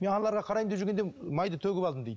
мен аналарға қараймын деп жүргенде майды төгіп алдым дейді